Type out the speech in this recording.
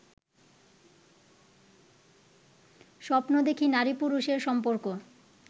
স্বপ্ন দেখি নারী পুরুষের সম্পর্ক